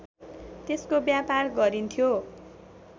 त्यसको व्यापार गरिन्थ्यो